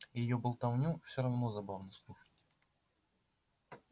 её болтовню всё равно забавно слушать